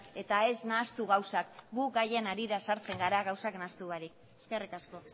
eta ez nahastu gauzak gu gaien harira sartzen gara gauzak nahastu barik eskerrik asko